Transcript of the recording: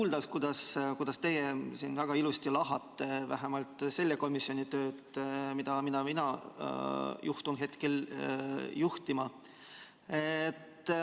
Rõõm kuulda, kuidas teie siin väga ilusti lahkate vähemalt selle komisjoni tööd, mida mina juhtun hetkel juhtima.